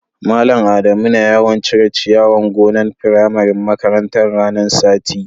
Mallam Adamu na yawan cire'n ciyawan gonan' furannin makarantan ranan sati.